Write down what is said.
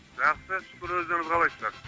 жақсы шүкір өздеріңіз қалайсыздар